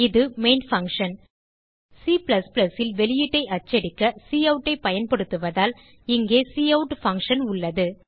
இது main function Cல் வெளியீட்டை அச்சடிக்க கவுட் ஐ பயன்படுத்துவதால் இங்கே கவுட் பங்ஷன் உள்ளது